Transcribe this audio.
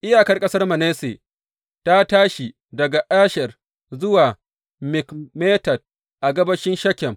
Iyakar ƙasar Manasse ta tashi daga Asher zuwa Mikmetat a gabashin Shekem.